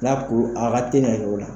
N'a kuru a ka teli ka kɛ